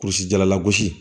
Kurusi jalalagosi